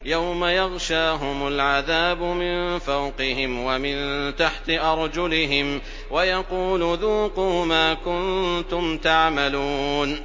يَوْمَ يَغْشَاهُمُ الْعَذَابُ مِن فَوْقِهِمْ وَمِن تَحْتِ أَرْجُلِهِمْ وَيَقُولُ ذُوقُوا مَا كُنتُمْ تَعْمَلُونَ